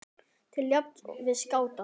til jafns við skáta.